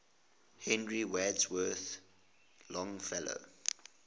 henry wadsworth longfellow